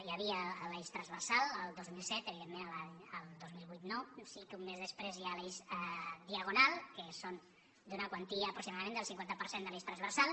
hi havia l’eix transversal el dos mil set evidentment el dos mil vuit no sí que un mes després hi ha l’eix diagonal que són d’una quantia aproximadament del cinquanta per cent de l’eix transversal